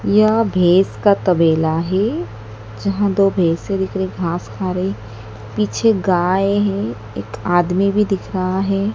यह भैंस का तबेला है जहां दो भैंसे दिख रही घास खा रही पीछे गाय हैं एक आदमी भी दिख रहा है।